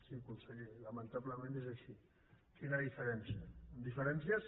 sí conseller lamentablement és així quina diferència diferències